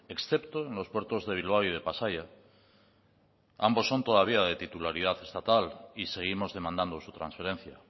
excepto en los puertos de bilbao y de pasaia ambos son todavía de titularidad estatal y seguimos demandando su transferencia